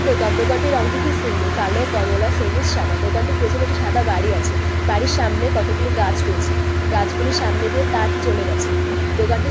দোকান দোকানটির রং টি খুব সুন্দর কালো কমলা সবুজ সাদা দোকানটির পিছনে একটি সাদা বাড়ি আছে। বাড়ির সামনে কতো গুলি গাছ রয়েছে। গাছ গুলির সামনে দিয়ে তার চলে গেছে। দোকানটির --